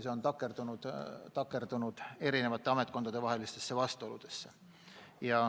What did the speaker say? See on takerdunud eri ametkondade vahelistesse vastuoludesse.